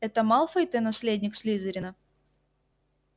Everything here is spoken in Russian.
это малфой-то наследник слизерина